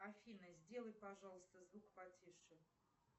афина сделай пожалуйста звук потише